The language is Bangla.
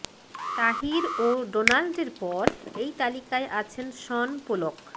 তাহির ও ডোনাল্ডের পর এই তালিকায় আছেন শন পোলক